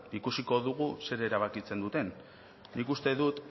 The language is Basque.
ikusiko dugu zer erabakitzen duten nik uste dut